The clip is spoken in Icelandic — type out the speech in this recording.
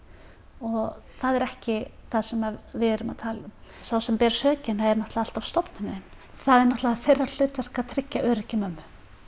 og það er ekki það sem við erum að tala um sá sem ber sökina er alltaf stofnunin það er þeirra hlutverk að tryggja öryggi mömmu